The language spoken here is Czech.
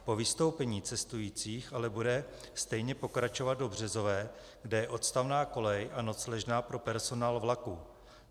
Po vystoupení cestujících ale bude stejně pokračovat do Březové, kde je odstavná kolej a nocležna pro personál vlaku.